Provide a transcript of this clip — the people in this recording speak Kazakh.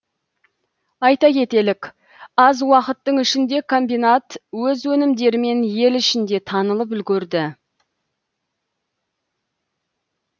айта кетелік аз уақыттың ішінде комбинат өз өнімдерімен ел ішінде танылып үлгерді